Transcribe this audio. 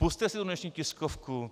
Pusťte si tu dnešní tiskovku.